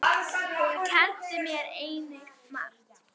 Hún kenndi mér einnig margt.